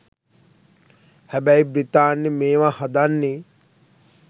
හැබැයි බ්‍රිතාන්‍ය මේවා හදන්නෙ